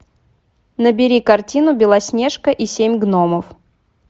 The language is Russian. набери картину белоснежка и семь гномов